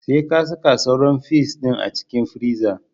Sai ka saka sauran fis ɗin a cikin friza